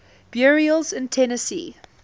burials in tennessee